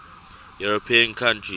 european countries